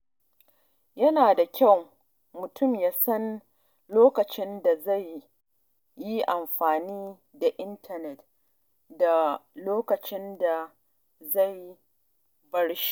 Yana da kyau mutum ya san lokacin da zai yi amfani da intanet da lokacin da zai bar shi.